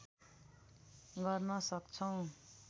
गर्न सक्छौँ